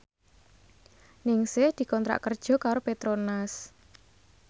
Ningsih dikontrak kerja karo Petronas